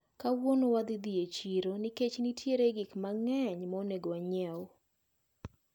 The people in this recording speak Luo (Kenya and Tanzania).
Kawuono wadhi dhi e chiro nikech nitiere gik mang`eny maonego wanyieu.